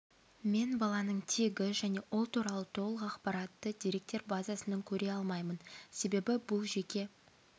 мен баланың тегі және ол туралы толық ақпаратты деректер базасынан көре алмаймын себебі бұл жеке